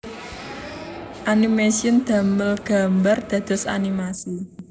Animation damel gambar dados animasi